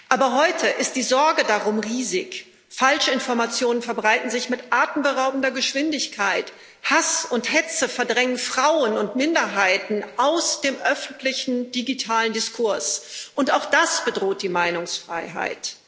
Aber heute ist die Sorge darum riesig Falschinformationen verbreiten sich mit atemberaubender Geschwindigkeit, Hass und Hetze verdrängen Frauen und Minderheiten aus dem öffentlichen digitalen Diskurs, und auch das bedroht die Meinungsfreiheit.